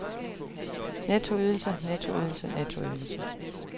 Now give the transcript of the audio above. nettoydelse nettoydelse nettoydelse